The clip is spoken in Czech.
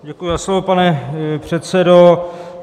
Děkuji za slovo, pane předsedo.